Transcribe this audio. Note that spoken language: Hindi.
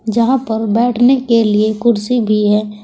जहां पर बैठने के लिए कुर्सी भी है।